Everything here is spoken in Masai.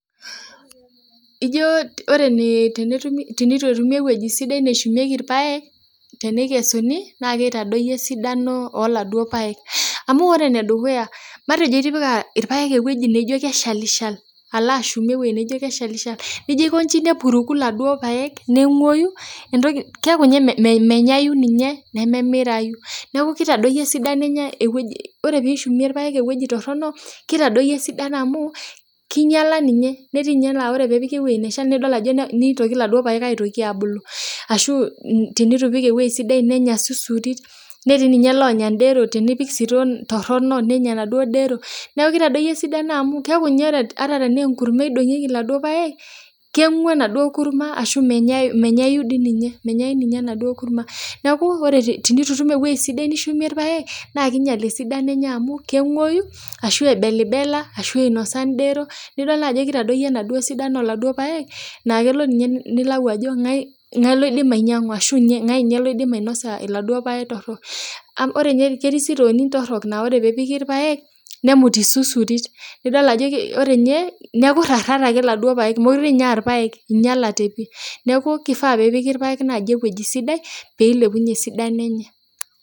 Ijo ore tenetumi tenitu etumi ewueji sidai neshumieki irpaek tenekesuni, na kitadoyio esidano oladuo paek. Amu ore enedukuya, matejo itipika irpaek ewueji naijo keshalishal, alo ashumie ewoi naijo keshalishal. Nijo aikoji nepuruku laduo paek neng'oyu, entoki keeku nye menyayu ninye, nememirayu. Neeku kitadoyio esidano enye ewueji ore pishumie irpaek ewueji torronok, kitadoyio esidano amu, kinyala ninye. Netii nye la ore pepiki ewei neshal, nidol ajo nitoki laduo paek aitoki abulu. Ashu tenitu ipik ewoi sidai nenya susuri, netii ninye lonya dero tenipik sitoo torrono nenya naduo dero. Neeku kitadoyio esidano amu keeku nye ata tenaa enkurma idong'ieki laduo paek, keng'u enaduo kurma ashu menyayu dininye. Menyayu ninye enaduo kurma. Neeku ore tenitutum ewoi sidai nishumie irpaek, naa kiinyel esidano enye amu, keng'oyu, ashu ebelibela, ashu inosa dero. Nidol najo kitadoyio enaduo sidano oladuo paek, ah kelo ninye nilau ajo ng'ae loidim ainyang'u, ashu ng'ae nye loidim ainosa laduo paek torrok. Ore ketii sitooni torrok naa ore pepiki irpaek, nemut isusurit. Nidol ajo ore nye, neeku rrarrat ake laduo paek. Mokurenye ah irpaek, inyalate pi. Neeku kifaa pepiki irpaek naji ewueji sidai, pilepunye esidano enye.